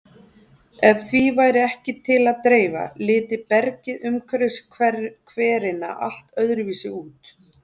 Ef því væri ekki til að dreifa liti bergið umhverfis hverina allt öðruvísi út.